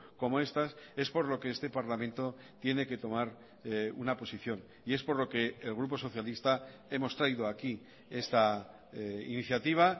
como estas es por lo que este parlamento tiene que tomar una posición y es por lo que el grupo socialista hemos traído aquí esta iniciativa